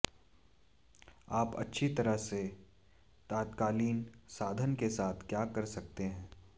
आप अच्छी तरह से तात्कालिक साधन के साथ क्या कर सकते हैं